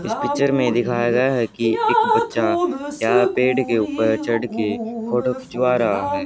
इस पिक्चर में दिखाया गया है कि एक बच्चा यहा पेड़ के ऊपर चढ़ के फोटो खिंचवा रहा है।